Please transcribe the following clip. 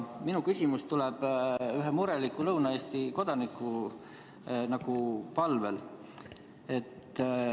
Minu küsimus tuleb ühe mureliku Lõuna-Eesti kodaniku palvel.